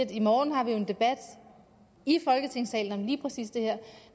i morgen har en debat i folketingssalen om lige præcis det her